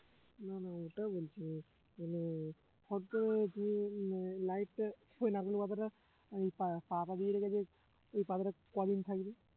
না না ওটা বলছি না মানে হঠাৎ করে আহ light টা কিভাবে রাখলো পাতাটা এই পা~ পাতা দিয়ে রেখেছে এই পাতাটা কয়দিন থাকবে